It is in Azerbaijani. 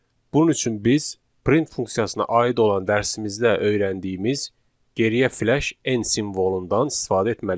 Bunun üçün biz print funksiyasına aid olan dərsimizdə öyrəndiyimiz geriyə fleş en simvolundan istifadə etməliyik.